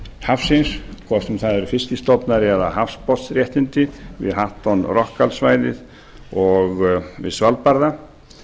hafsins hvort sem það eru fiskstofna eða hafsbotnsréttindi við hatton rockallsvæðið og við svalbarða